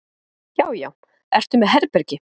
Já já. ertu með herbergi?